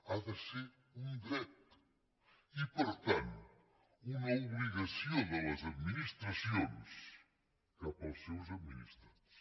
ha de ser un dret i per tant una obligació de les administracions cap als seus administrats